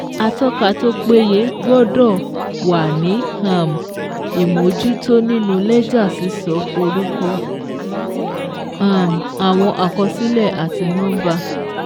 Atọ́ka tó péye gbọ́dọ̀ wà ní um ìmójútó nínú lẹ́jà sísọ orúkọ um àwọn àkọsílẹ̀ àti nọ́ḿbà.